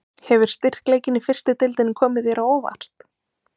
Hefur styrkleikinn í fyrstu deildinni komið þér á óvart?